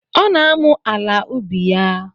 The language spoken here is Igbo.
Ọ na-amụ ala ubi ya.